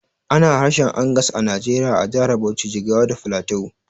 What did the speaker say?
Ana harshen Angas a Najeriya a jahar Bauchi, Jigawa da Filato